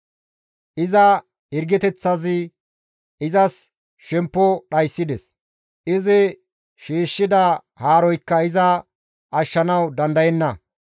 «Iza hirgeteththazi izas shemppo dhayssides; izi shiishshida haaroykka iza ashshanawu dandayenna.